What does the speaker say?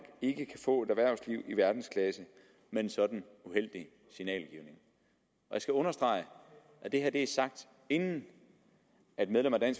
ikke kan få et erhvervsliv i verdensklasse med en sådan uheldig signalgivning jeg skal understrege at det her er sagt inden et medlem af